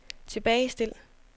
tilbagestil